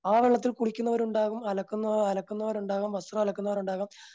ആ വെള്ളത്തിൽ കുളിക്കുന്നവരുണ്ടാകും അലക്കുന്ന അലക്കുന്നവർ ഉണ്ടാകാം വസ്ത്രം അലക്കുന്നവരുണ്ടാകാം